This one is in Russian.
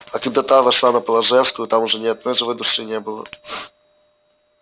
а когда та вошла на полажевскую там уже ни одной живой души не было